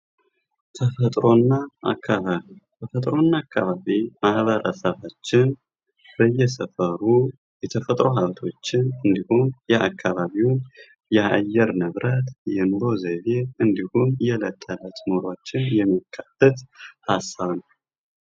ተፈጥሮና አካባቢ፤ ተፈጥሮና አካባቢ ማበረሰባችን በየሰፈሩ የተፈጥሮ ሃብቶችን እንዲሁም የአካባቢውን የአየር ንብረት የኑሮ ዘይቤ እንዲሁም የዕለት ተዕለት ኑሮዎችን የሚካተትበት ሃሳብ ነው።